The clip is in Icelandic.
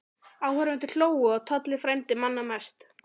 Áhorfendur hlógu og Tolli frændi manna mest.